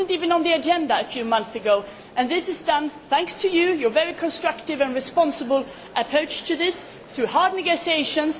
It was not even on the agenda a few months ago, and this has been done thanks to you, your very constructive and responsible approach to this, and through hard negotiations.